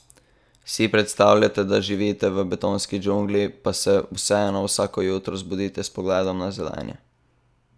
Si predstavljate, da živite v betonski džungli, pa se vseeno vsako jutro zbudite s pogledom na zelenje?